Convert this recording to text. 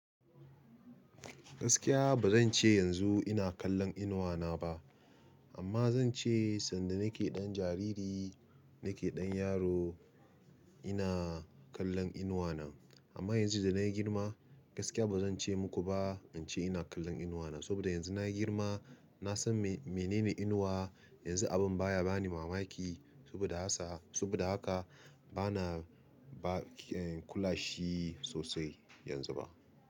Gaskiya ba zan ce yanzu ina kallon inuwa na ba amma zan ce sanda nake ɗan jariri nake ɗan yaro ina kallon inuwa na. Amma yanzu da na yi girma gaskiya ba zan ce muku ba in ce ina kallon inuwa na. Saboda yanzu na yi girma na san menene inuwa. Yanzu abin baya bani mamaki saboda ha sa saboda haka bana ba kula shi sosai yanzu ba.